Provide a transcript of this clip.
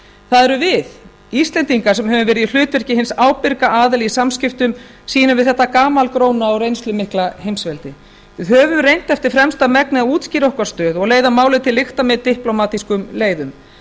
það erum við íslendingar sem höfum verið í hlutverki hins ábyrga aðila í samskiptum sínum við þetta gamalgróna og reynslumikla heimsveldi við höfum reynt eftir fremsta megni að útskýra okkar stöðu og leiða málið til lykta með diplómatískum leiðum